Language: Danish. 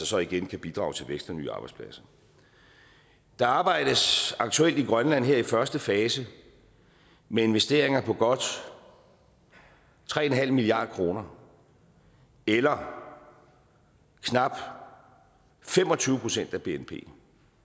så igen kan bidrage til vækst og nye arbejdspladser der arbejdes aktuelt i grønland her i første fase med investeringer på godt tre milliard kroner eller knap fem og tyve procent af bnp